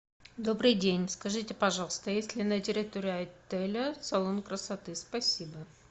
добрый день скажите пожалуйста есть ли на территории отеля салон красоты спасибо